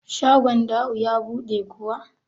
shagon Da'u ya buɗe kuwa?